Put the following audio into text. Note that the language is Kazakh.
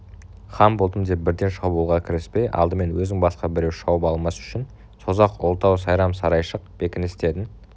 хан болдым деп бірден шабуылға кіріспей алдымен өзін басқа біреу шауып алмас үшін созақ ұлытау сайрам сарайшық бекіністерін